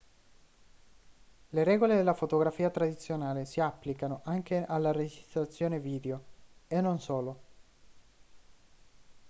le regole della fotografia tradizionale si applicano anche alla registrazione video e non solo